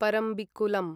Parambikulam